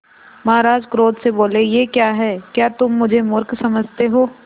महाराज क्रोध से बोले यह क्या है क्या तुम मुझे मुर्ख समझते हो